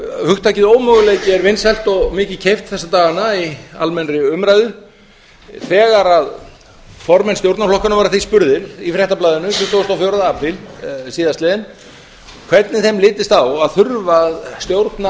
hugtakið ómöguleiki er vinsælt og mikið keypt þessa dagana í almennri umræðu þegar formenn stjórnarflokkanna voru að því spurðir í fréttablaðinu tuttugasta og fjórða apríl síðastliðinn hvernig þeim litist á að þurfa að stjórna